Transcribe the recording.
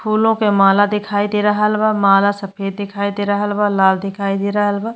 फूलों के माला दिखाई दे रहल बा। माला सफ़ेद दिखाई दे रहल बा लाल दिखाई दे रहल बा।